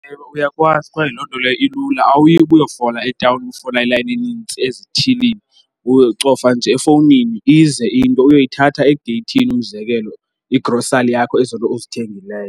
Ewe, uyakwazi kwaye loo nto leyo ilula awuyi ukuyofola etawuni ufola ilayini enintsi ezithilini. Ucofa nje efowunini ize into uyoyithatha egeyithini. Umzekelo, igrosali yakho, ezo nto uzithengileyo.